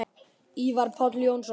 Ívar Páll Jónsson